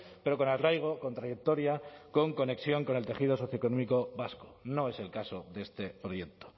pero con arraigo con trayectoria con conexión con el tejido socioeconómico vasco no es el caso de este proyecto